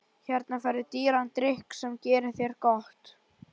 Hérna færðu dýran drykk sem gerir þér gott.